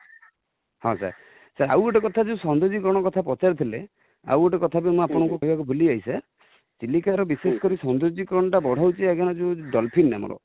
ହଁ sir ଆଉ ଗୋଟେ କଥା ସଂଯୋଗୀକରଣ କଥା ପଚାରୁ ଥିଲେ, ଆଉ ଗୋଟେ କଥା ଯୋଉ ମୁଁ ଆପଣଙ୍କୁ କହିବାକୁ ଭୁଲି ଯାଇଛି sir ,ଚିଲିକା ର ବିଶେଷ କରି ସୌନ୍ଦର୍ଯ୍ୟକରଣ ଟା ବଢାଉ ଛି ଆଜ୍ଞା ଯୋଉ dolphin ନାମକ